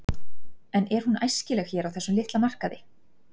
En er hún æskileg hér á þessum litla markaði?